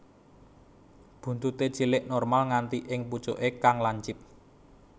Buntuté cilik normal nganti ing pucuké kang lancip